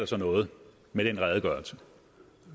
så noget med den redegørelse